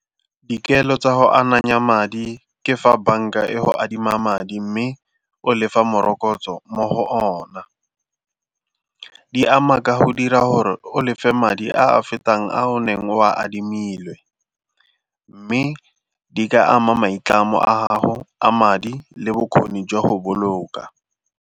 Dikelo tsa go ananya madi ke fa banka e go adima madi mme o lefa morokotso mo go ona. Di ama ka go dira gore o lefe madi a a fetang a o neng o a adimile mme di ka ama maitlamo a gago a madi le bokgoni jwa go boloka.